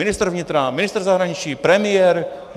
Ministr vnitra, ministr zahraničí, premiér?